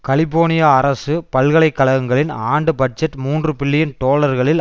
California அரசு பல்கலைக்கழகங்களின் ஆண்டு பட்ஜெட் மூன்று பில்லியன் டொலர்களில்